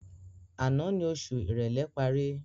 Àná ni oṣù ìrèlé parí